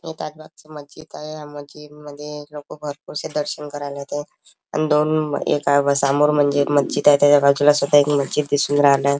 हे ताजबागचं मस्जिद आहे या मस्जिदमध्ये लोक भरपूरसे दर्शन करायला येतात आणि दोन एक समोर म्हणजे मस्जिद आहे त्याच्या बाजूला सुद्धा एक मज्जीद दिसून राहिलंय.